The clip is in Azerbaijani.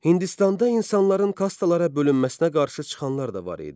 Hindistanda insanların kastlara bölünməsinə qarşı çıxanlar da var idi.